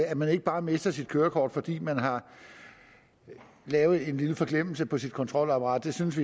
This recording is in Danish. at man ikke bare mister sit kørekort fordi man har lavet en lille forglemmelse på sit kontrolapparat det synes